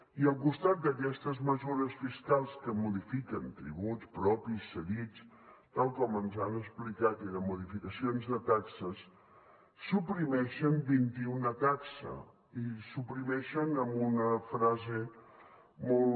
i al costat d’aquestes mesures fiscals que modifiquen tributs propis cedits tal com ens han explicat i de modificacions de taxes suprimeixen vint i una taxes i les suprimeixen amb una frase molt